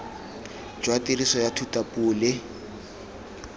jwa tiriso ya thutapuo le